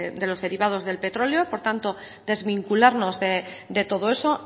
de los derivados del petróleo por tanto desvincularnos de todo eso